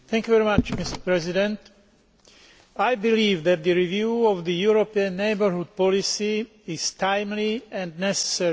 Mr President, I believe that the review of the European neighbourhood policy is timely and necessary.